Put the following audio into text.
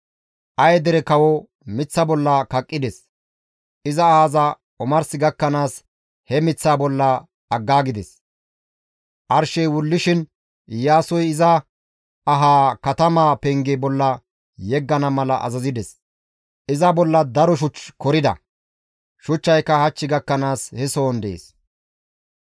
Aye dere kawo miththa bolla kaqqides; iza ahaza omars gakkanaas he miththaa bolla aggaagides; arshey wullishin Iyaasoy iza ahaa katamaa penge bolla yeggana mala azazides; iza bolla daro shuch korida; shuchchay hach gakkanaas he sohon dees.